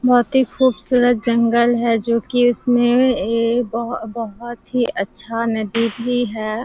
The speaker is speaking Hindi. बहोत ही खूबसूरत जंगल है जो की इसमें ए ए बहो बहोत ही अच्छा नदी भी है।